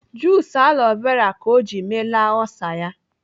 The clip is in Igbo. Jus aloe vera ka ọ ji meela olsa ya.